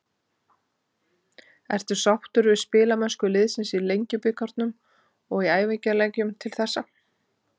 Ertu sáttur við spilamennsku liðsins í Lengjubikarnum og í æfingaleikjum til þessa?